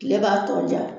Kile b'a tɔ ja